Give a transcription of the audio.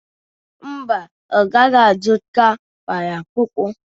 mba ọ gaghi-azụta kpalakwukwu